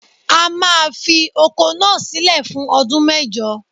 A máa fi oko náà sílẹ̀ fún ọdún mẹ́jọ.